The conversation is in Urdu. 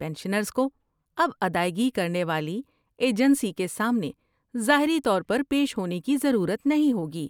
پنشنرز کو اب ادائیگی کرنے والی ایجنسی کے سامنے ظاہری طور پر پیش ہونے کی ضرورت نہیں ہوگی۔